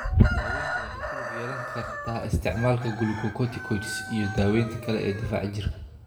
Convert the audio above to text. Daaweyntu waxay ku lug yeelan kartaa isticmaalka glucocorticoids iyo daawaynta kale ee difaaca jirka.